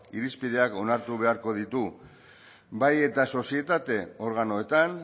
irizpideak onartu beharko ditu bai eta sozietate organoetan